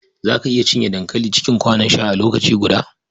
Za ka iya cinye dankali cikin kwanon sha a lokaci guda?